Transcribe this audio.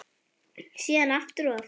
Síðan aftur og aftur.